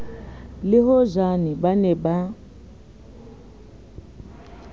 le hojane ba ne ba